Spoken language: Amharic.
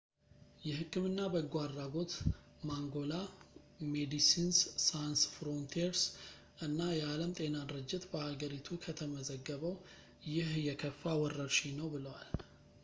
የህክምና በጎ አድራጎት ማንጎላ ፣ ሜዲሲንስ ሳንስ ፍሮንቲርስ እና የዓለም ጤና ድርጅት በሀገሪቱ ከተመዘገበው ይህ የከፋ ወረርሽኝ ነው ብለዋል